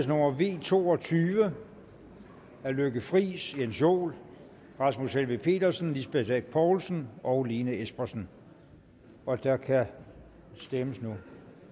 nummer v to og tyve af lykke friis jens joel rasmus helveg petersen lisbeth bech poulsen og lene espersen og der kan stemmes nu